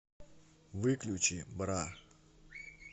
выключи бра